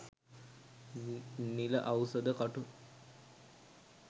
නිල අවුසද කටු